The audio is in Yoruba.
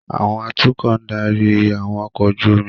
Àwọn atukọ̀ ń darí àwọn ọkọ̀ ojú omi